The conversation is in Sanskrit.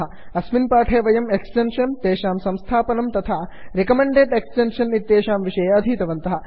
अस्मिन् पाठे वयं एक्स्टेन्षन्स् तेषाम् संस्थापनं तथा रिकमेण्डेड् एक्स्टेन्षन् इत्येतेषां विषये अधीतवन्तः